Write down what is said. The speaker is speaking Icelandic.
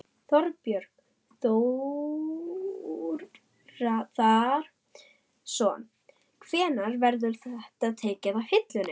Þorbjörn Þórðarson: Hvenær verður þetta tekið af hillunni?